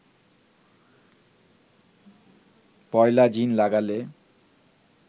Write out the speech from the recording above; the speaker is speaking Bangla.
পয়লা জিন লাগালে